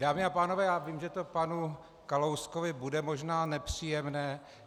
Dámy a pánové, já vím, že to panu Kalouskovi bude možná nepříjemné.